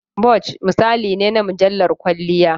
"Vogue" misali ne na mujallar kwalliya.